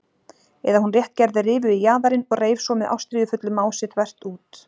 Eða hún rétt gerði rifu í jaðarinn og reif svo með ástríðufullu mási þvert út.